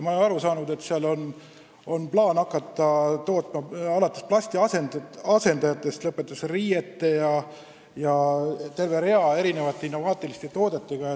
Olen aru saanud, et on plaan hakata tootma materjale alates plasti asendajatest ning lõpetades riiete ja terve rea innovaatiliste toodetega.